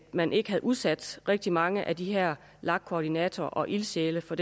man ikke havde udsat rigtig mange af de her lag koordinatorer og ildsjæle for